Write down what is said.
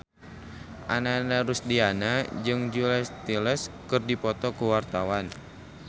Ananda Rusdiana jeung Julia Stiles keur dipoto ku wartawan